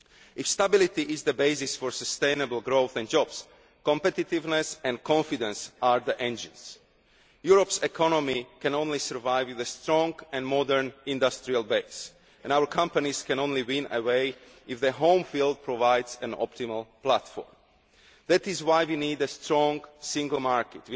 If stability is the basis for sustainable growth and jobs, competitiveness and confidence are the engines. Europe's economy can only survive with a strong and modern industrial base and our companies can only win away if the home field provides an optimal platform. That is why we need a strong single market.